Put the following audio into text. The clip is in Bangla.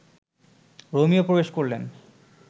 রোমিও প্রবেশ করলেন